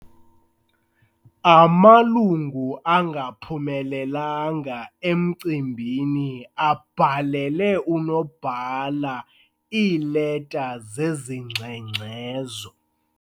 Amalungu angaphumelelanga emcimbini abhalele unobhala iileta zezingxengxezo.